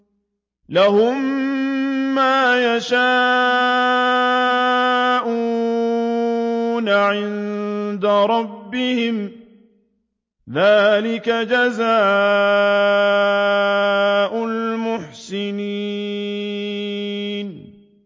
لَهُم مَّا يَشَاءُونَ عِندَ رَبِّهِمْ ۚ ذَٰلِكَ جَزَاءُ الْمُحْسِنِينَ